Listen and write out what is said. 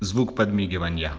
звук подмигивания